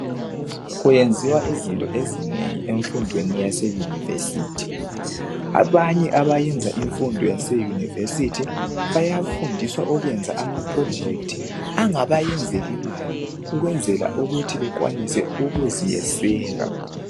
Kuyenziwa izinto ezinengi efundweni yaseyunivesithi. Abanye abayenza imfundo yaseyunivesithi bayafundiswa okuyenza ama 'projects' angabayenz'ilmali ukunzela ukuthi bekwanise ukuziyekuziyeseka.